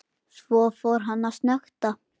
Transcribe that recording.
Svo fór hann að snökta.